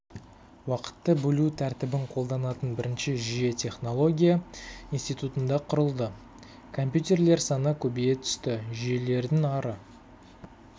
уақытты бөлу тәртібін қолданатын бірінші жүйе технология институтында құрылды компьютерлер саны көбейе түсті жүйелердің ары